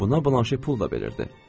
Buna Blanşe pul da verirdi.